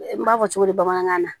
N b'a fɔ cogo di bamanankan na